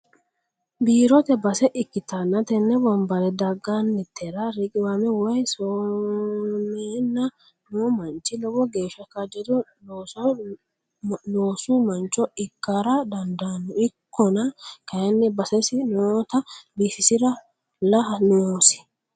Biirote base ikkittanna tene wombare daganitera riqiwame woyi somenna no manchi lowo geeshsha kaajjado loosu mancho ikkara dandaano ikkonna kayinni basesi nootta biifisiralla noosi.